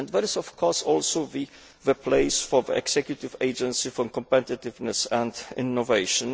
There is, of course, also the place for the Executive Agency for Competitiveness and Innovation.